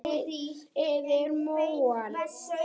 Thomas skreið yfir móann.